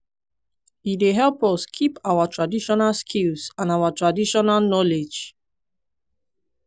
e dey help us keep our traditional skills and ouir traditional knowledge.